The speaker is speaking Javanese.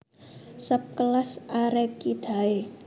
Sub Kelas Arecidae